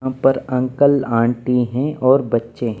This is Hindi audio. यहां पर अंकल आंटी हैं और बच्चे --